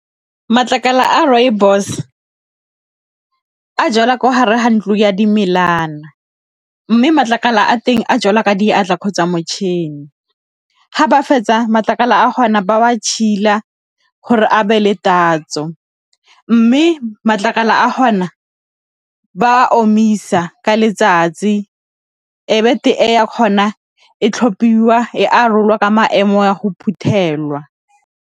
Matlakala a rooibos a jalwa ko hare ha ntlo ya , mme matlakala a teng a jalwa ka diatla kgotsa motšhini, fa ba fetsa matlakala a ba wa gore a be le tatso, mme matlakala a gona ba omisa ka letsatsi ya kgona e tlhophiwa e arolwa ka maemo a go phuthelwa.